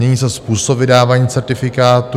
Mění se způsob vydávání certifikátů.